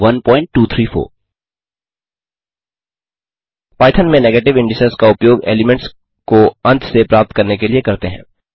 Python में negative indices का उपयोग एलीमेंट्स को अंत से प्राप्त करने के लिए करते हैं